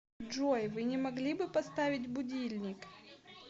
джой вы не могли бы поставить будильник